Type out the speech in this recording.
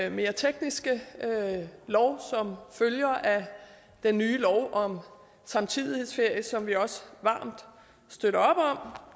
jo mere tekniske lov som følger af den nye lov om samtidighedsferie som vi også varmt støtter